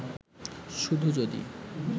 শুধু যদি